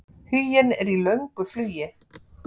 Huginn er í löngu flugi.